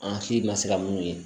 An si ma se ka mun ye